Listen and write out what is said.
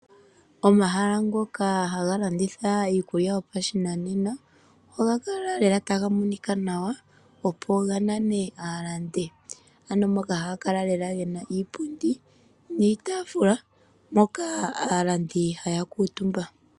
Omahala ngoka haga landitha iikulya yopashinanena ohaga kala lela taga monika nawa opo ga nane aalandi. Ano moka haga kala lela gena iipundi niitaafula moka aalandi haya kuutumba.